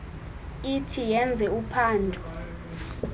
ithi yenze uphando